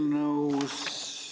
Mis paragrahv see nüüd oligi?